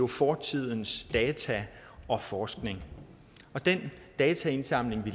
fortidens data og forskning og den dataindsamling vi